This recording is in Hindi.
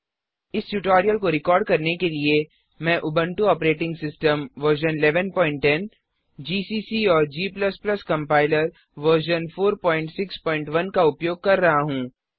इस ट्यूटोरियल को रिकॉर्ड करने के लिए मैं Ubuntu operating system version 1110 GCC औरg कंपाइलर वर्जन 461 का उपयोग कर रहा हूँ